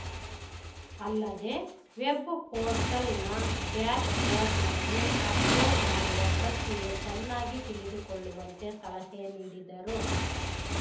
ಅಲ್ಲದೇ ವೆಬ್‌ ಪೋರ್ಟಲ್‌ನ ಡ್ಯಾಶ್‌ ಬೋರ್ಡ್‌ನಲ್ಲಿ ಅಪ್‌ಲೋಡ್‌ ಮಾಡುವ ಪ್ರಕ್ರಿಯೆ ಚೆನ್ನಾಗಿ ತಿಳಿದುಕೊಳ್ಳುವಂತೆ ಸಲಹೆ ನೀಡಿದರು